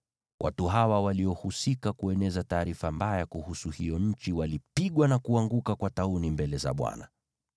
watu hawa waliohusika kueneza taarifa mbaya kuhusu hiyo nchi walipigwa na kuanguka kwa tauni mbele za Bwana .